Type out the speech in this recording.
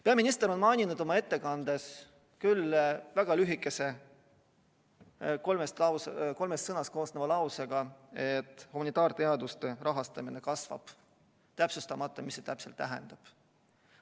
Peaminister mainis oma ettekandes, küll väga lühikese, kolmest sõnast koosneva lausega, et humanitaarteaduste rahastamine kasvab, täpsustamata, mida see täpselt tähendab.